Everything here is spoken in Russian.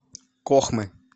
кохмы